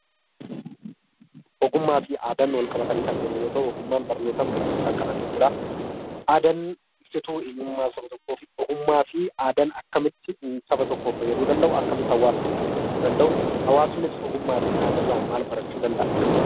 Ogummaa fi aadaan wal qabatanii kan deeman yoo ta'u, ogummaan barnootaan, beekumsaan kan argamu dha. Aadaan ibsituu eenyummaa saba tokkoo fi ogummaa fi aadaan akkamitti saba tokkoof fayyaduu danda'u? Akkamitti hawaasa tokkoof fayyaduu danda'u? Hawaasnis ogummaa fi aadaa irraa maal barachuu danda'a? Akkamitti?